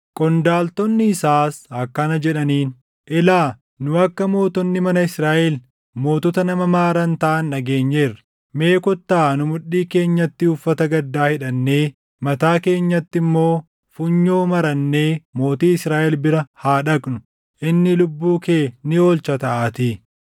Qondaaltonni isaas akkana jedhaniin; “Ilaa, nu akka mootonni mana Israaʼel mootota nama maaran taʼan dhageenyeerra. Mee kottaa nu mudhii keenyatti uffata gaddaa hidhannee, mataa keenyatti immoo funyoo marannee mootii Israaʼel bira haa dhaqnu. Inni lubbuu kee ni oolcha taʼaatii.”